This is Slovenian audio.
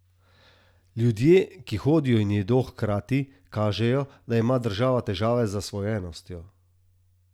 Ljudje, ki hodijo in jedo hkrati, kažejo, da ima država težave z zasvojenostjo.